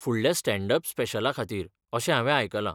फुडल्या stand up स्पेशला खातीर अशें हांवें आयकलां.